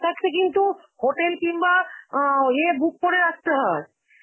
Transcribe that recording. থাকতে কিন্তু hotel কিংবা আ অ্যাঁ ইয়ে book করে রাখতে হয়.